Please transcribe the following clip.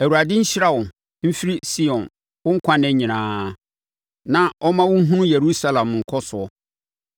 Awurade nhyira wo mfiri Sion wo nkwa nna nyinaa; na ɔmma wo nhunu Yerusalem nkɔsoɔ,